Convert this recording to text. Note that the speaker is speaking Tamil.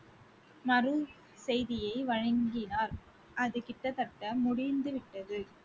செய்தியை வழங்கினார் அது கிட்டத்தட்ட முடிந்து விட்டது.